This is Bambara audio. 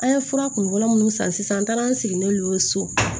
An ye fura kunfɔlɔ minnu san sisan an taara an sigilen so